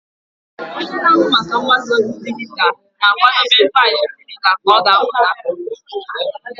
Onye na-ahụ maka mgbasa ozi dijitalụ na-akwadebe faịlụ dijitalụ ka a ga-ebipụta.